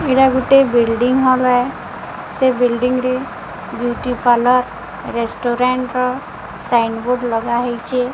ଏଇଟା ଗୋଟେ ବିଲଡିଂ ସେ ବିଲଡିଂ ରେ ବିଉଟି ପାର୍ଲର ରେସଟୁରାଣ୍ଡ ର ସାଇନ୍ ବୋଡ଼ ଲଗା ହେଇଚି।